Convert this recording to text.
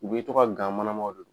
U be to ka gan manamaw de d